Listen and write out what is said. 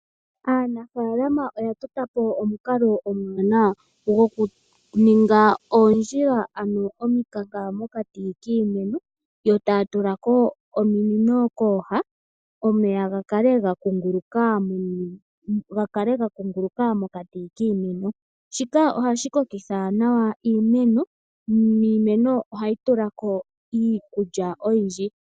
Aanafaalama oya tota po omukalo omwaanawa gokuninga oondjila ano omikanka mokati kiimeno yo taya tulako ominino kooha omeyaa ga kale ga kunguluka mokati kiimeno. Shika ohashi kokitha nawa iimeno niimeno ohayi tulako okulya oyindji.